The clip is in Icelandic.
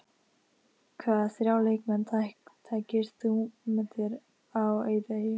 Hvaða þrjá leikmenn tækir þú með þér á eyðieyju?